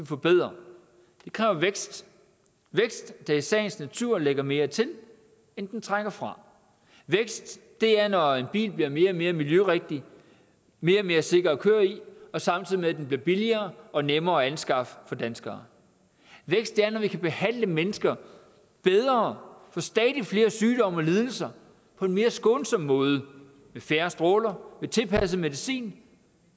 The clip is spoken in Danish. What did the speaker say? forbedre det kræver vækst vækst der i sagens natur lægger mere til end den trækker fra vækst er når en bil bliver mere og mere miljørigtig mere og mere sikker at køre i samtidig med at den bliver billigere og nemmere at anskaffe for danskere vækst er når vi kan behandle mennesker bedre for stadig flere sygdomme og lidelser på en mere skånsom måde med færre stråler med tilpasset medicin